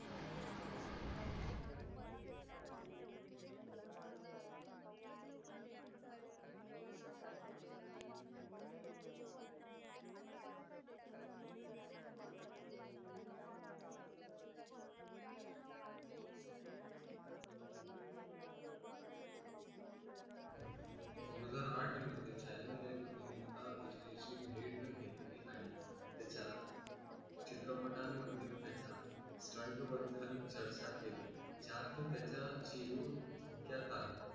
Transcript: दोन हजार आठ मध्ये channel ने अभिनेता घेतली आणि त्याच्या चित्रपटामधील त्याच्या Stunt बद्दल चर्चा केली ज्यात त्याचा जीव धोक्यात आला